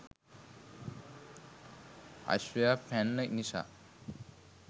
අශ්වයා පැන්න නිසා